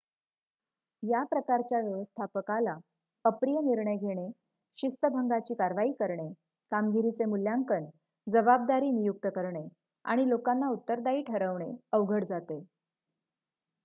या प्रकारच्या व्यवस्थापकाला अप्रिय निर्णय घेणे शिस्तभंगाची कारवाई करणे कामगिरीचे मूल्यांकन जबाबदारी नियुक्त करणे आणि लोकांना उत्तरदायी ठरविणे अवघड जाते